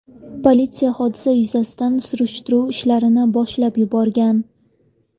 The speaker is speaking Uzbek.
Politsiya hodisa yuzasidan surishtiruv ishlarini boshlab yuborgan.